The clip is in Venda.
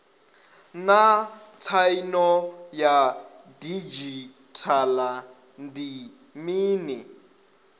naa tsaino ya didzhithala ndi mini